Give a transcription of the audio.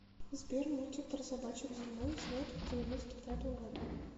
сбер мультик про собачек зимой снят в девяносто пятом году